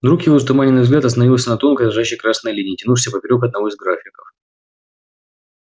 вдруг его затуманенный взгляд остановился на тонкой дрожащей красной линии тянувшейся поперёк одного из графиков